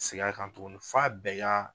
Segin a kan tuguni f'a bɛɛ ka